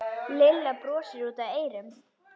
Lilla brosti út að eyrum.